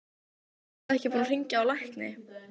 Ertu ekki búinn að hringja á lækni?